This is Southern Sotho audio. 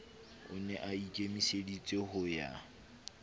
o ne aikemiseditse ho ya